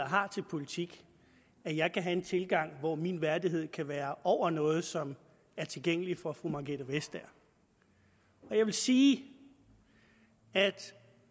har til politik at jeg kan have en tilgang hvor min værdighed kan være over noget som er tilgængeligt for fru margrethe vestager jeg vil sige at